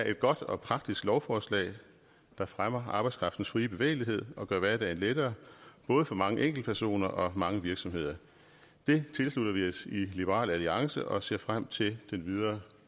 et godt og praktisk lovforslag der fremmer arbejdskraftens frie bevægelighed og gør hverdagen lettere både for mange enkeltpersoner og mange virksomheder det tilslutter vi os i liberal alliance og vi ser frem til den videre